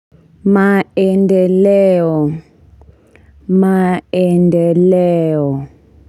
Maendeleo maendeleo.